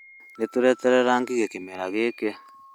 Nĩ tũreeterera ngigĩ kĩmera gĩkĩ?